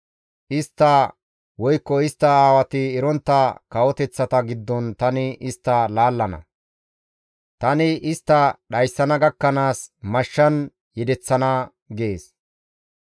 Istta woykko istta aawati erontta kawoteththata giddon tani istta laallana. Tani istta dhayssana gakkanaas mashshan yedeththana» gees.